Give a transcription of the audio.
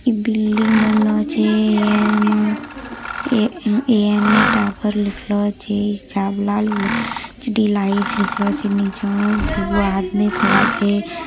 इ बिल्डिंग बनलो छै एमे ए.एन.ए टावर लिखलो छै नीचा मे दूगो आदमी खड़ा छै।